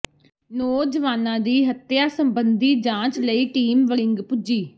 ਨੌਜਵਾਨਾਂ ਦੀ ਹੱਤਿਆ ਸਬੰਧੀ ਜਾਂਚ ਲਈ ਟੀਮ ਵੜਿੰਗ ਪੁੱਜੀ